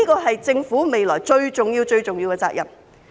這是政府未來最重要、最重要的責任。